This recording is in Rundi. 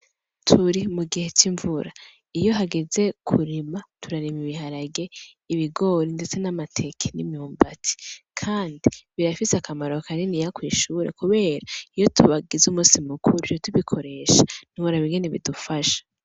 Turi mu gihe c'imvura. Iyo hageze kurima, turarima biharage ibigori ndetse n'amateke n'imyumbati, kandi birafise akamaro kaniniya kwishure kubera iyo bagize umunsi mukuru duca tubikoresha ntiworaba ingene bidufasha.